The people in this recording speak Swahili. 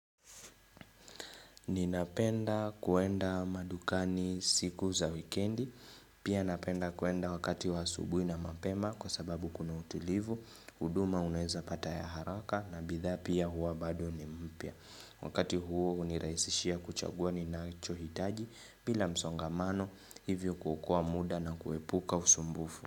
Ninapenda kuenda madukani siku za wikendi, pia napenda kuenda wakati wa asubuhi na mapema kwa sababu kuna utilivu, huduma unaweza pata ya haraka na bidhaa pia huwa bado ni mpya. Wakati huo hunirahisishia kuchagua ninachohitaji bila msongamano hivyo kuokoa muda na kuepuka usumbufu.